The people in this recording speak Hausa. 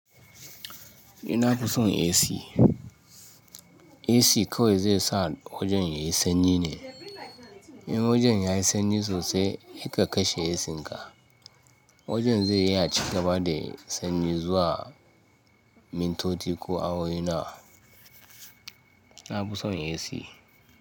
Ni nafi son AC. AC kawai zai sa wajen yayi sanyi ne. In wajen yayi sanyi sosai, sai ka kashe ACn ka. Wajen zai yi aci gaba da sanyi zuwa mintoci ko awoyi nawa. Na fi son AC.